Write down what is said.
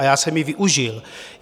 A já jsem ji využil.